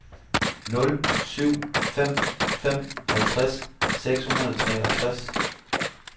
nul syv fem fem halvtreds seks hundrede og treogtres